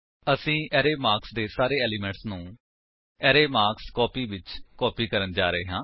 ਅਸੀ ਅਰੇ ਮਾਰਕਸ ਦੇ ਸਾਰੇ ਏਲਿਮੇਂਟਸ ਨੂੰ ਅਰੇ ਮਾਰਕਸਕੋਪੀ ਵਿੱਚ ਕਾਪੀ ਕਰਨ ਜਾ ਰਹੇ ਹਾਂ